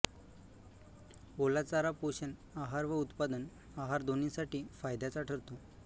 ओला चारा पोषण आहार व उत्पादन आहार दोन्हीसाठी फायद्याचा ठरतो